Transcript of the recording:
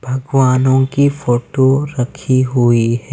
भगवानों की फोटो रखी हुई हैं।